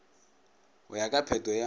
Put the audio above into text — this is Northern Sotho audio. go ya ka phetho ya